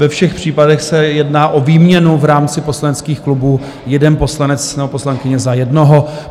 Ve všech případech se jedná o výměnu v rámci poslaneckých klubů, jeden poslanec nebo poslankyně za jednoho.